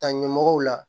Ta ɲɛmɔgɔw la